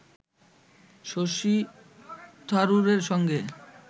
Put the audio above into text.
শশী থারুরের সঙ্গে